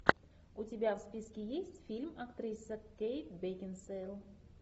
у тебя в списке есть фильм актриса кейт бекинсейл